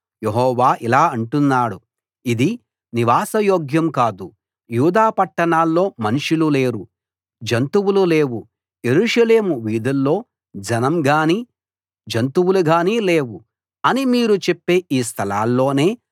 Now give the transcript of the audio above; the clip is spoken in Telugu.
యెహోవా ఇలా అంటున్నాడు ఇది నివాసయోగ్యం కాదు యూదా పట్టణాల్లో మనుషులు లేరు జంతువులు లేవు యెరూషలేము వీధుల్లో జనంగానీ జంతువులుగానీ లేవు అని మీరు చెప్పే ఈ స్థలాల్లోనే